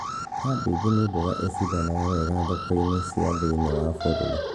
Kambĩji nĩ mboga icindanaga wega thoko-inĩ cia thĩiniĩ wa bũrũri